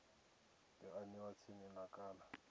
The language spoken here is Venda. yo aniwa tsini na kana